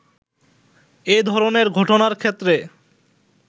এ ধরনের ঘটনার ক্ষেত্রে